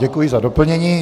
Děkuji za doplnění.